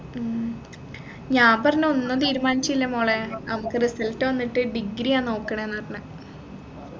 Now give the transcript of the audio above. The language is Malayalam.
ഉം ഞാൻ പറഞ്ഞു ഒന്നും തീരുമാനില്ല മോളെ നമ്മുക്ക് result വന്നിട്ട് degree ആ നോക്കണേന്ന് പറഞ്ഞെ